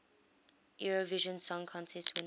eurovision song contest winners